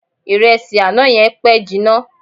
Ìrẹsì àná yẹn pẹ́ jinna.